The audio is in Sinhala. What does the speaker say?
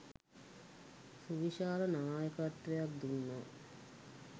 සුවිශාල නායකත්වයක් දුන්නා